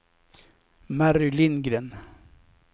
Mary Lindgren